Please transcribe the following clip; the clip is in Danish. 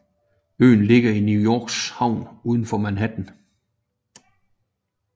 Øen ligger i New Yorks havn udenfor Manhattan